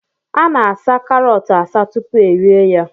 Ana-asaa karọt asaa tupu erie ya